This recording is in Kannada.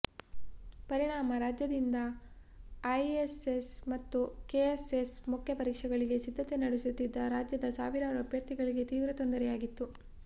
ಪರಿಣಾಮ ರಾಜ್ಯದಿಂದ ಐಎಎಸ್ ಮತ್ತು ಕೆಎಎಸ್ ಮುಖ್ಯ ಪರೀಕ್ಷೆಗಳಿಗೆ ಸಿದ್ಧತೆ ನಡೆಸುತ್ತಿದ್ದ ರಾಜ್ಯದ ಸಾವಿರಾರೂ ಅಭ್ಯರ್ಥಿಗಳಿಗೆ ತೀವ್ರ ತೊಂದರೆಯಾಗಿತ್ತು